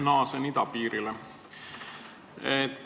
Naasen idapiirile.